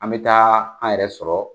An bɛ taa an yɛrɛ sɔrɔ